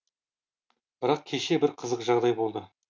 бірақ кеше бір қызық жағдай болды